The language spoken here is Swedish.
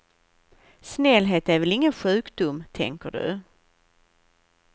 Snällhet är väl ingen sjukdom, tänker du.